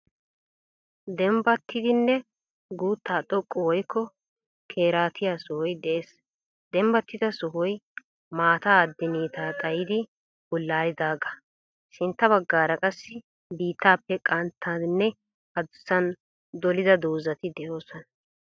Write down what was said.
Deembbatidinne guutta xooqqi woyikko keeraatiya sohoy de'ees. Deembatida sohoy maataa adinitta xaayidi buullalidaaga. Sintta bagaara qaasi biitaappe qanttaninne addussan dolida dozati de'osoona.